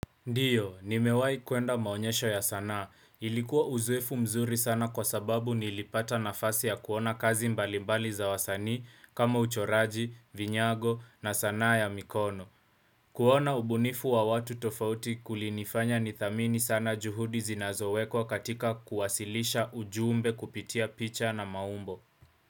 Ndiyo, nimewai kuenda maonyesho ya sanaa. Ilikuwa uzoefu mzuri sana kwa sababu nilipata nafasi ya kuona kazi mbalimbali za wasanii kama uchoraji, vinyago na sanaa ya mikono. Kuona ubunifu wa watu tofauti kulinifanya nithamini sana juhudi zinazowekwa katika kuwasilisha ujumbe kupitia picha na maumbo.